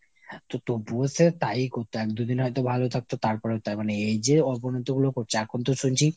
তো তবুও সে তাই ই করতো। এক দু'দিন হয়তো ভালো থাকতো তারপরেও তাই। মানে এই যে অবনতিগুলো করছে এখনতো শুনছি